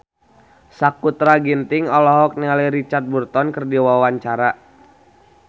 Sakutra Ginting olohok ningali Richard Burton keur diwawancara